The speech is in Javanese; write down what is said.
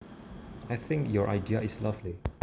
I think your idea is lovely